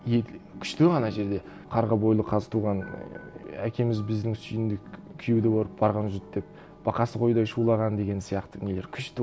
и күшті ана жерде қарға бойлы қазтуған ііі әкеміз біздің сүйіндік күйеуді көріп барған жұрт деп бақасы қойдай шулаған деген сияқты нелері күшті